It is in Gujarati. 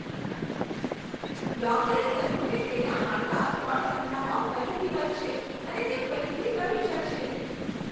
ડૉક્ટરે કહ્યું કે તેનાં હાડકાં ત્રણ મહિનામાં ફરીથી વધશે અને તે ફરીથી રમી શકશે.